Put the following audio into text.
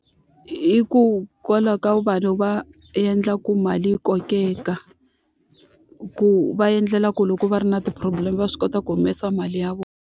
ka vanhu va endla ku mali yi kokeka, ku va endlela ku loko va ri na ti-problem va swi kota ku humesa mali ya vona.